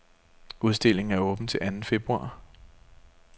Udstillingen er åben til anden februar.